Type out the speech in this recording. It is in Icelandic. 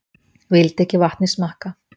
vildi ekki vatnið smakka